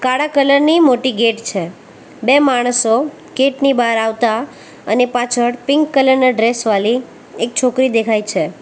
કાળા કલર ની મોટી ગેટ છે બે માણસો ગેટ ની બાર આવતા અને પાછળ પિંક કલર ના ડ્રેસ વાલી એક છોકરી દેખાય છે.